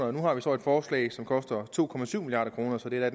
og nu har vi så et forslag som koster to milliard kroner så det er